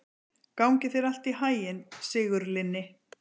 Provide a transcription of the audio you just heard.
Gangi þér allt í haginn, Sigurlinni.